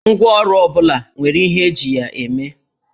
Ngwáọrụ ọ bụla nwere ihe eji ya eme